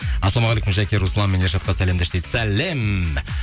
ассалаумағалейкум жәке руслан мен ершатқа сәлем деш дейді сәлем